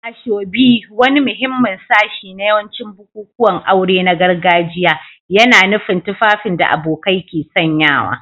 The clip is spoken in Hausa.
Asoebi, wani muhimmin sashi na yawancin bukukuwan aure na gargajiya, yana nufin tufafin da abokai ke sanyawa.